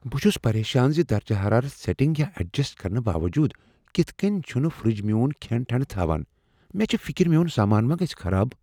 بہ چھُس پریشان ز درجہ حرارت سیٹِنگ یا ایڈجسٹ کرنہٕ باوجود کتھہٕ کٔنۍ چھٗنہٕ فرٛج میون کھیٛن ٹھنٛڈٕ تھاوان مےٚ چھےٚ فِکر میون سامانہ ما گژھِ خراب